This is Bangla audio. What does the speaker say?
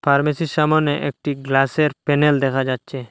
ফার্মেসীর -র সামনে একটি গ্লাসের -এর প্যানেল দেখা যাচ্ছে।